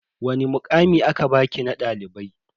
Wani mukami aka baki na dalibai?